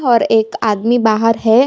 और एक आदमी बाहर है।